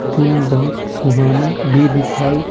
दिन बहुत सुहाना भी दिखाई --